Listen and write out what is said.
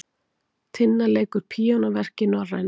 Tinna leikur píanóverk í Norræna